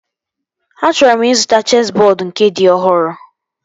Achọrọ m ịzụta chesị bọọdu nke dị ọhụrụ